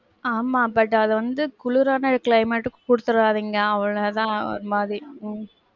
ஆமா but வந்து குளிரான climate க்கு குடுத்துறாதீங்க. அவ்வ்ளளவு தான் ஒரு மாதிரி, உம்